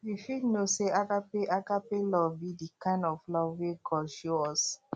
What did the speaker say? you fit know say agape agape love be di kind of love wey god show us